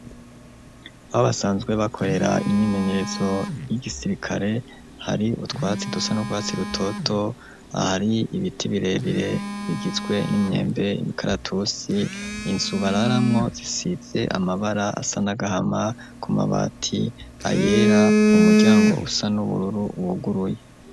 Abasanzwe bakorera imyimenyerezo y'igisirikare, hari utwatsi dusa n'u rwatsi rutoto, ahari ibiti birebire bigizwe n'imyembe, imikaratusi, Inzu bararamwo isize amabara asa n'agahama, ku mabati ayera, umuryango usa n'ubururu uruguruye.